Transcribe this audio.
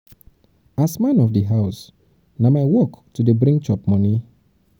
as man of di house na my work to dey bring chop moni. bring chop moni.